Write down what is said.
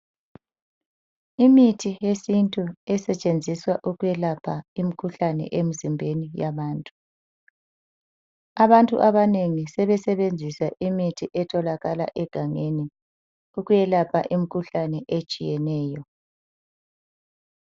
Imithi yesintu esetshenziswa ukwelapha imikhuhlane emzimbeni yabantu. Abantu abanengi sebesebenzisa imithi etholakala egangeni ukwelapha imikhuhlane etshiyeneyo.